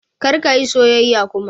Kar ka yi soyayya kuma!